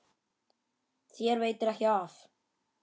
Þér veitir ekki af.